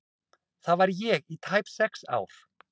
Þar var ég í tæp sex ár.